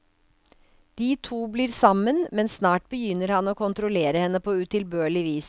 De to blir sammen, men snart begynner han å kontrollere henne på utilbørlig vis.